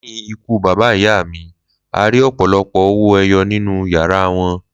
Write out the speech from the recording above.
Lẹ́yìn ikú bàbá ìyá mi, a rí ọ̀pọ̀lọpọ̀ owó ẹyọ nínú yàrá wọn